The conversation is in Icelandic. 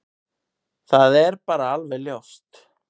Það er bara alveg ljóst.